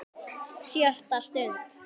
SJÖTTA STUND